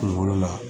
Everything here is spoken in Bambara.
Kungolo la